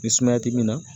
Ni sumaya ti min na